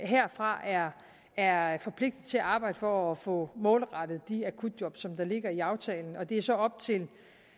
herfra er forpligtet til at arbejde for at få målrettet de akutjob som ligger i aftalen og det er så op til